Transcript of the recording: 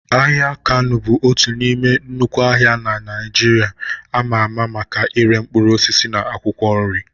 Ahịa Kano bụ otu n'ime nnukwu ahịa na Naịjirịa ama ama maka ire mkpụrụ osisi na akwụkwọ nri.